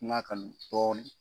Nka kan dɔɔni.